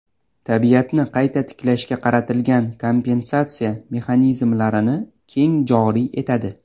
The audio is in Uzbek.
tabiatni qayta tiklashga qaratilgan kompensatsiya mexanizmlarini keng joriy etadi.